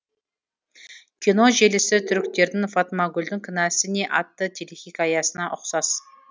кино желісі түріктердің фатмагүлдің кінәсі не атты телехикаясына ұқсас